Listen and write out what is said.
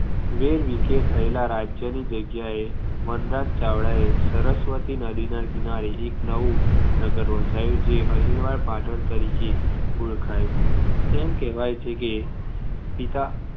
વેરવિખેર થયેલાં રાજ્યની જગ્યા એ વનરાજ ચાવડા એ સરસ્વતી નદીના કિનારે એક નવું નગર વસાવ્યુ જે અણહિલવાડ પાટણ તરીકે ઓળખાયુ તેમ કહેવાય છે કે પિતા